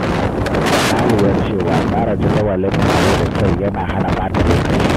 Na lura cewa tsara jadawalin taro da kyau yana hana ɓata lokaci.